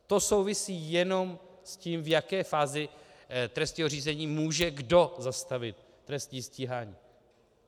To souvisí jenom s tím, v jaké fázi trestního řízení může kdo zastavit trestní stíhání.